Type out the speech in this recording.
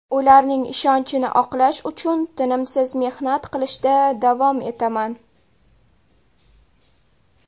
Ularning ishonchini oqlash uchun tinimsiz mehnat qilishda davom etaman.